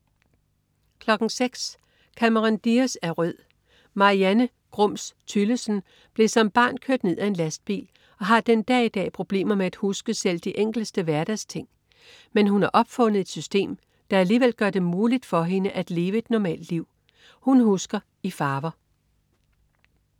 06.03 Cameron Diaz er rød. Marianne "Grums" Tyllesen blev som barn kørt ned af en lastbil og har den dag i dag problemer med at huske selv de enkleste hverdagsting. Men hun har opfundet et system, der alligevel gør det muligt for hende at leve et normalt liv. Hun husker i farver